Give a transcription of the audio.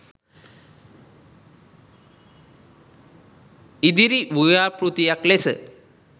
ඉදිරි ව්‍යාපෘතියක් ලෙස